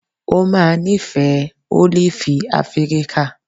O máa nífẹ̀ẹ́ ólífì Afíríkà.